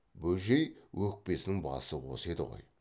бөжей өкпесінің басы осы еді ғой